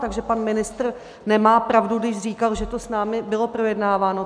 Takže pan ministr nemá pravdu, když říkal, že to s námi bylo projednáváno.